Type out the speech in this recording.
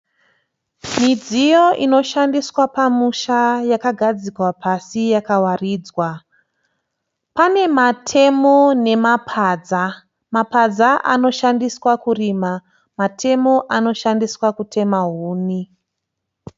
Midziyo inoshandiswa pamusha yakagadzikwa pasi yakawaridzwa. Pane matemo nemapadza. Mapadza anoshandiswa kurima. Matemo anoshandiswa kutema huni.